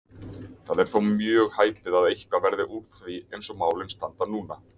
Það er þó mjög hæpið að eitthvað verði úr því eins og málin standa núna.